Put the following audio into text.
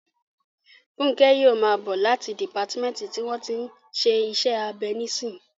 Fúnkẹ́ yóò máa bọ̀ láti dìpátímẹ́ǹtì tí wọ́n tí ń ṣe iṣẹ́ abẹ nísìnyí